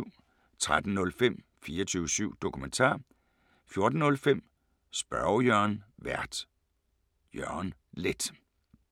13:05: 24syv Dokumentar 14:05: Spørge Jørgen Vært: Jørgen Leth